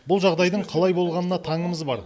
бұл жағдайдың қалай болғанына таңымыз бар